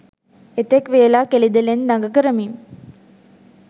එතෙක් වේලා කෙළිදෙලෙන් දඟ කරමින්